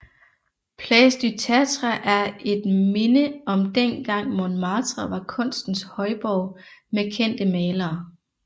Place du Tertre er et minde om dengang Montmartre var kunstens højborg med kendte malere